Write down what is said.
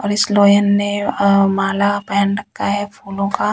और इस लोयन ने माला पहन रखा है फूलों का--